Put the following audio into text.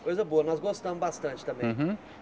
Coisa boa, nós gostamos bastante também. Uhum